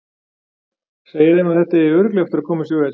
Segir þeim að þetta eigi örugglega eftir að koma sér vel.